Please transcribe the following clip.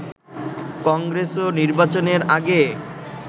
কংগ্রেসও নির্বাচনের আগে